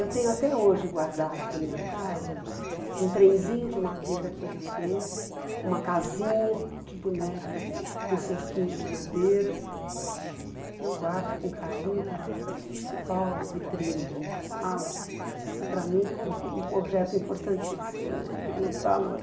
Eu tenho até hoje guardados na minha casa um trenzinho de madeira que ele fez, uma casinha de boneca com cerquinha de madeira, que eu guardo com carinho na principal vitrine da minha sala, porque para mim é importan um objeto importantíssimo né, de muito valor.